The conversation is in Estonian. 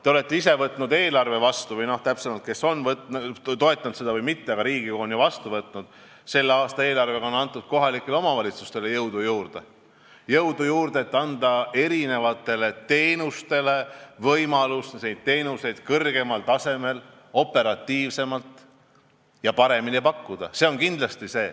Te olete ise võtnud eelarve vastu, te olete seda toetanud, või kui ka mitte, siis Riigikogu on ju selle vastu võtnud, ning selle aasta eelarvega on antud kohalikele omavalitsustele jõudu juurde, et osutada avalikke teenuseid kõrgemal tasemel, operatiivsemalt ja paremini.